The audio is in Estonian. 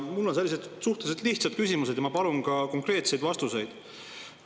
Mul on sellised suhteliselt lihtsad küsimused ja ma palun konkreetseid vastuseid.